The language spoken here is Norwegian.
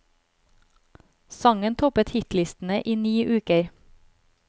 Sangen toppet hitlistene i ni uker.